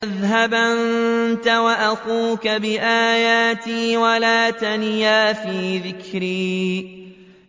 اذْهَبْ أَنتَ وَأَخُوكَ بِآيَاتِي وَلَا تَنِيَا فِي ذِكْرِي